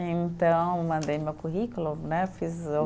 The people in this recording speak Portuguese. Então, mandei meu currículo né, fiz o.